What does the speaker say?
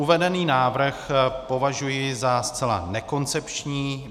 Uvedený návrh považuji za zcela nekoncepční.